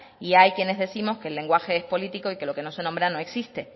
y hay quienes décimos que el lenguaje es político y lo que no se nombra no existe